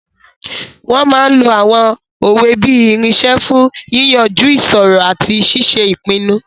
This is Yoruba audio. Wọ́n máa n lo àwọn òwe bí irinṣẹ́ fún yíyanjú ìṣòro àti ṣíṣe ìpinnu